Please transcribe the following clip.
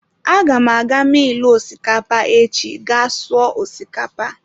Aga m aga milu osikapa echi ga sụọ osikapa.